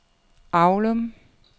Avlum